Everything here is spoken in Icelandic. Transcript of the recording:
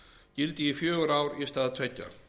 gildi í fjögur ár í stað tveggja